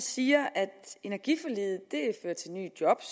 siger at energiforliget fører til nye job